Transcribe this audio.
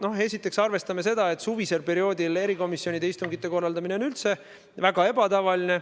Noh, esiteks arvestame seda, et suvisel perioodil erikomisjonide istungite korraldamine on üldse väga ebatavaline.